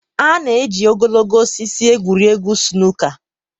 A na-eji ogologo osisi egwuri egwu snooker er